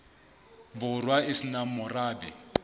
borwa e se nang morabe